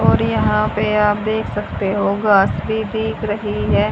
और यहां पे आप देख सकते हो घास भी दिख रही है।